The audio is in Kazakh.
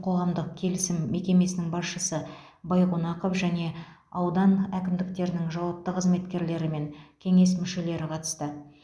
қоғамдық келісім мекемесінің басшысы байқонақов және аудан әкімдіктерінің жауапты қызметкерлері мен кеңес мүшелері қатысты